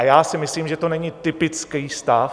A já si myslím, že to není typický stav.